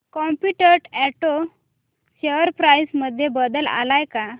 competent auto share price मध्ये बदल आलाय का